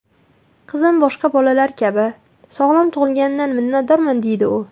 Qizim boshqa bolalar kabi sog‘lom tug‘ilganidan minnatdorman”, deydi u.